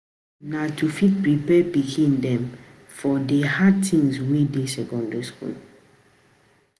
The aim na to fit prepare pikin dem for di hard things wey dey secondary school.